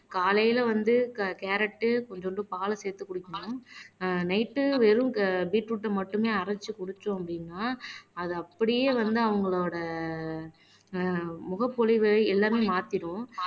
காலையில வந்து கேரட் கொஞ்சோண்டு பாலை சேர்த்துக் குடிக்கணும் ஆஹ் நைட் வெறும் பீட்ரூட்டை மட்டுமே அரைச்சு குடிச்சோம் அப்படின்னா அது அப்படியே வந்து அவங்களோட ஆஹ் முகப்பொலிவு எல்லாமே மாத்திடும்